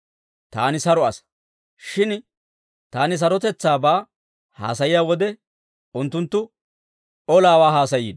Taani saro asaa; shin taani sarotetsaabaa haasayiyaa wode, unttunttu olaawaa haasayiino!